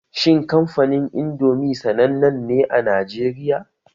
Shin kamfanin Indomi sanannen ne a Najeriya?